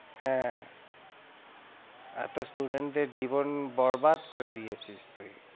হ্যাঁ এতো student দের জীবন বরবাদ করে দিয়েছিস তুই।